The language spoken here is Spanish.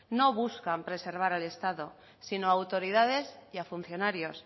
no buscan preservar al estado sino a autoridades y funcionarios